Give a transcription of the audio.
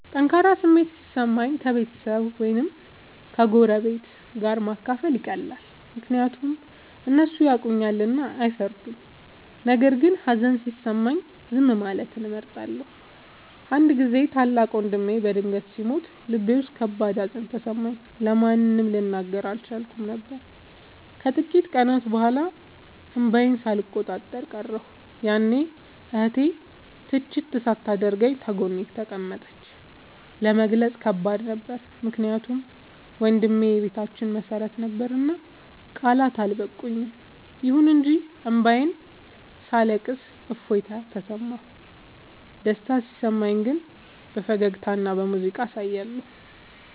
ጠንካራ ስሜት ሲሰማኝ ከቤተሰብ ወይም ከጎረቤት ጋር ማካፈል ይቀላል፤ ምክንያቱም እነሱ ያውቁኛልና አይፈርዱም። ነገር ግን ሀዘን ሲሰማኝ ዝም ማለትን እመርጣለሁ። አንድ ጊዜ ታላቅ ወንድሜ በድንገት ሲሞት ልቤ ውስጥ ከባድ ሀዘን ተሰማኝ፤ ለማንም ልናገር አልቻልኩም ነበር። ከጥቂት ቀናት በኋላ እንባዬን ሳልቆጣጠር ቀረሁ፤ ያኔ እህቴ ትችት ሳታደርግ ጎኔ ተቀመጠች። ለመግለጽ ከባድ ነበር ምክንያቱም ወንድሜ የቤታችን መሰረት ነበርና ቃላት አልበቁም። ይሁን እንጂ እንባዬን ሳለቅስ እፎይታ ተሰማሁ። ደስታ ሲሰማኝ ግን በፈገግታና በሙዚቃ አሳያለሁ።